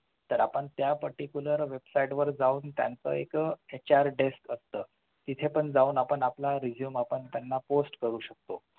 तर आपण त्या particular website वर जावून त्यांच एक HRDESK असतं तिथे पण जावून आपण आपला Resume त्यांना post करू शकतो